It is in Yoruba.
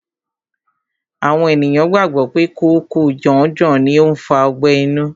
Àwọn ènìyàn gbàgbọ́ pé kòóko janjan ni ó ń fa ọgbẹ́ inú.